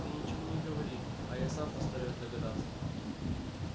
ты ничего не говори а я сам постараюсь догадаться